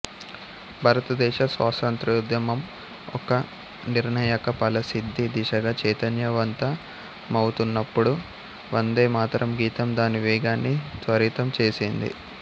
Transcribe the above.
భారతదేశ స్వతత్ర్యోద్యమం ఒక నిర్ణాయక ఫలసిద్ధి దిశగా చైతన్యవంతమవుతున్నప్పుడు వందేమాతరం గీతం దాని వేగాన్ని త్వరితం చేసింది